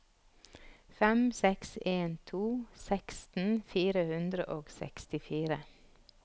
fem seks en to seksten fire hundre og sekstifire